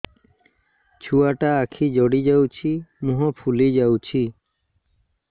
ଛୁଆଟା ଆଖି ଜଡ଼ି ଯାଉଛି ମୁହଁ ଫୁଲି ଯାଉଛି